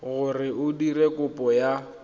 gore o dire kopo ya